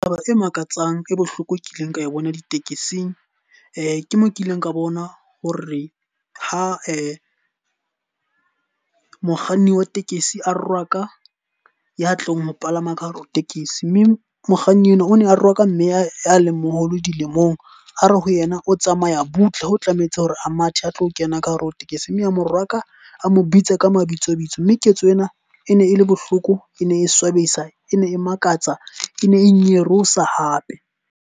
Taba e makatsang e bohloko e kileng ka e bona ditekesing. Ke mo kileng ka bona ho re ha mokganni wa tekesi a rwaka ya tlong ho palama ka hare ho tekesi. Mme mokganni enwa o ne a re wa ka mme a a leng moholo dilemong. A re ho yena o tsamaya butle ho tlamehetse hore a mathe a tlo kena ka hare ho tekesi. Mme a morwaka a mo bitse ka mabitso bitso. Mme ketso ena e ne e le bohloko, e ne e swabisa, e ne e makatsa, e ne e nyarosa hape.